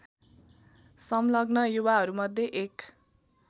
सङ्लग्न युवाहरूमध्ये एक